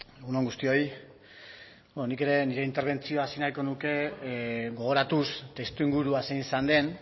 egun on guztioi beno nik ere nire interbentzioa hasi nahiko nuke gogoratuz testuingurua zein izan den